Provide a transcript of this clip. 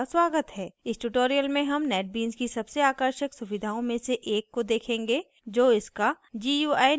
इस tutorial में हम netbeans की सबसे आकर्षक सुविधाओं में से एक को देखेंगे जो इसका gui निर्माता है